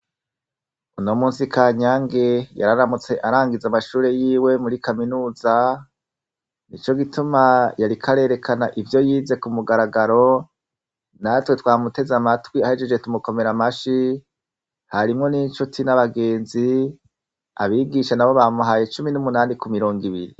Uno munsi munsi Kanyange, yararamutse arangiza amashure yiwe muri kaminuza, nico gituma yariko arerekana ivyo yize ku mugaragaro, natwe twamuteze amatwi ahejeje tumukomera amashi, harimwo n' incuti n'abagenzi, abigisha nabo bamuhaye cumi n' umunani ku mirongo ibiri.